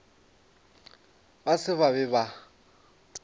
ba se ba be ba